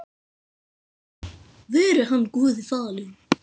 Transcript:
Veri hann Guði falinn.